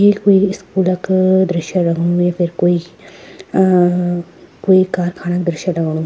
ये कुई स्कूल क दृश्य लगणु येफर कुई अ कुई कारखाना दृश्य लगणु।